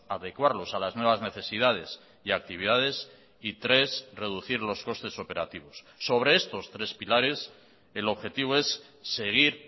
adecuarlos a las nuevas necesidades y actividades y tres reducir los costes operativos sobre estos tres pilares el objetivo es seguir